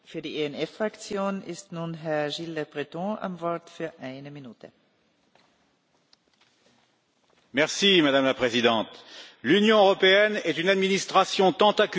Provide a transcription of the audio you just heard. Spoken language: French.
Madame la Présidente, l'Union européenne est une administration tentaculaire peuplée d'innombrables institutions, agences, organes et organismes divers qui prennent des décisions administratives.